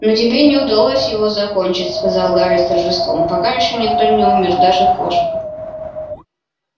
но тебе не удалось его закончить сказал гарри с торжеством пока ещё никто не умер даже кошка